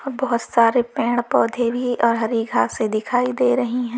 बहोत सारे पेड़ पौधे भी और हरी घासे दिखाई दे रही हैं।